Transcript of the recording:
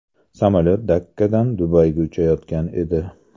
Samolyot Dakkadan Dubayga uchayotgan edi.